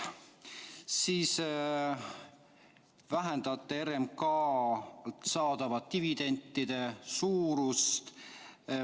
Siis te vähendate RMK‑lt saadavate dividendide suurust.